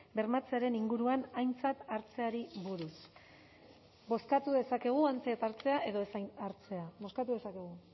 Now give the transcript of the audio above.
bermatzearen inguruan aintzat hartzeari buruz bozkatu dezakegu aintzat hartzea edo aintzat ez hartzea bozkatu dezakegu